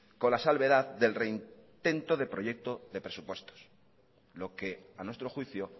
con la salvedad del reintento de proyecto de presupuestos lo que a nuestro juicio